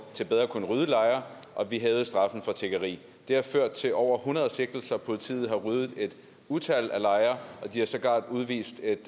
til bedre at kunne rydde lejre og vi hævede straffen for tiggeri det har ført til over hundrede sigtelser politiet har ryddet et utal af lejre og de har sågar udvist et